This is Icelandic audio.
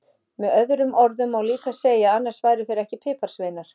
Með öðrum orðum má líka segja að annars væru þeir ekki piparsveinar!